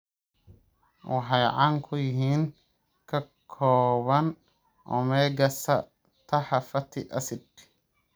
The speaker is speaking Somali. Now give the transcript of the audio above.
Waxay caan ku yihiin ka kooban omega-satax fatty acids.